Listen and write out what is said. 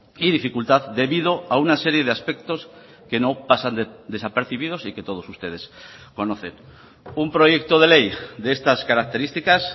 y dificultad debido a una serie de aspectos que no pasan desapercibidos y que todos ustedes conocen un proyecto de ley de estas características